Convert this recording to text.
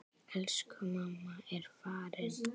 Elsku mamma er farin.